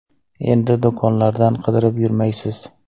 Endi do‘konlardan qidirib yurmaysiz.